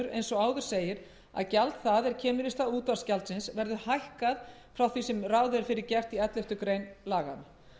eins og áður segir að gjald það er kemur í stað útvarpsgjaldsins verður hækkað frá því sem ráð er fyrir gert í elleftu grein laganna